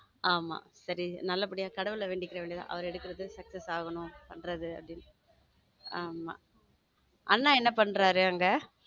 ஆமா நல்லபடியா கடவுளை வேண்டிக்க வேண்டியது அவருக்கு எடுக்கறது sucess ஆகணும் பண்றது ஆமா அண்ணா என்ன பண்றாரு அங்க?